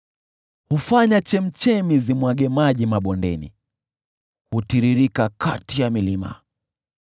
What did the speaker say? Huzifanya chemchemi zimwage maji mabondeni, hutiririka kati ya milima.